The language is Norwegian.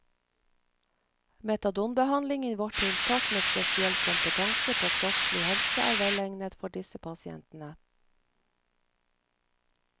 Metadonbehandling i vårt tiltak med spesiell kompetanse på kroppslig helse er velegnet for disse pasientene.